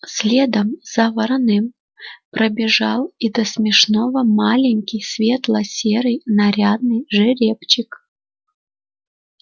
следом за вороным пробежал до смешного маленький светло-серый нарядный жеребчик